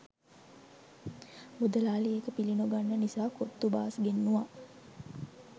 මුදලාලි ඒක පිලි නොගන්න නිසා කොත්තු බාස් ගෙන්නුව.